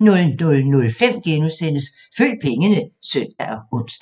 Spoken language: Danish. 00:05: Følg pengene *(søn og ons)